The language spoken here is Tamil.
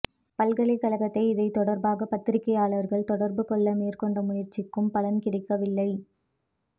பல்கலைக்கழகத்தை இது தொடர்பாக பத்திரிகையாளர்கள் தொடர்புகொள்ள மேற்கொண்ட முயற்சிக்கும் பலன் கிடைக்கவில்லை